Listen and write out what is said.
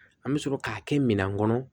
An bɛ sɔrɔ k'a kɛ minɛn kɔnɔ